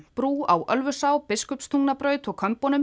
brú á Ölfusá Biskupstungnabraut og